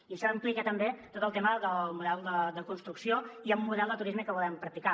i això implica també tot el tema del model de construcció i el model de turisme que volem practicar